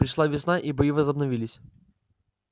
пришла весна и бои возобновились